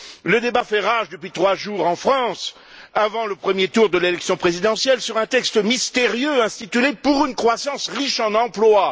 Le débat fait rage depuis trois jours en France, avant le premier tour de l'élection présidentielle, sur un texte mystérieux intitulé Pour une croissance riche en emplois.